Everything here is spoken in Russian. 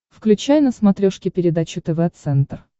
включай на смотрешке передачу тв центр